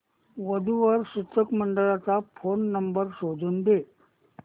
वधू वर सूचक मंडळाचा फोन नंबर शोधून दे